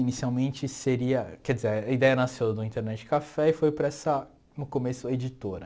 Inicialmente seria, quer dizer, a ideia nasceu do Internet Café e foi para essa, no começo, editora.